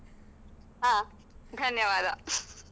ಹ, ಧನ್ಯವಾದ